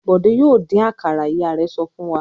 "Bọ̀dé yóò dín àkàrà!" Ìyá rẹ̀ sọ fún wa.